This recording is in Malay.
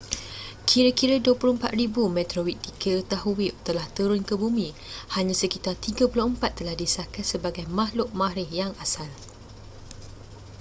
kira-kira 24,000 meteorit diketahui telah turun ke bumi hanya sekitar 34 telah disahkan sebagai makhluk marikh yang asal